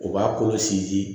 O b'a kolo sinsin